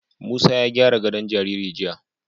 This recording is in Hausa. Musa ya gyara gadon jariri jiya.